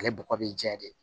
Ale bɔgɔ bɛ jɛ de